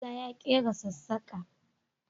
Musa ya ƙera sassaƙa